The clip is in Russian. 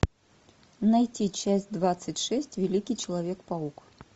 найти часть двадцать шесть великий человек паук